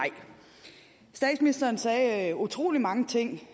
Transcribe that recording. statsministeren sagde utrolig mange ting